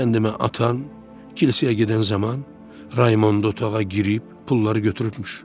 Sən demə atan, kilsəyə gedən zaman Raymondu otağa girib pulları götürübmüş.